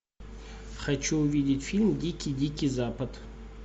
хочу увидеть фильм дикий дикий запад